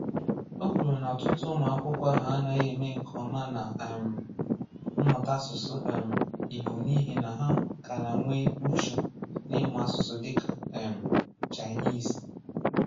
Ọ kwụrụ na ọ̀tụ̀tụ̀ ụmụ akwụkwọ ahụ anàghị eme nke ọma na um mmụta áṣụ̀sụ̀ um Ìgbò n’ihi na ha karà nwee ùchù n’ịmụ áṣụ̀sụ̀ dịka um Cháịnìzì.